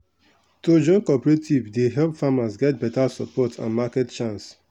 to join cooperative dey help farmers get beta support and market chance.